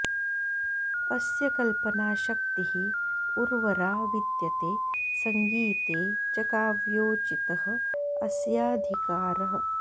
अस्य कल्पनाशक्तिः उर्वरा विद्यते संगीते च काव्योचितः अस्याधिकारः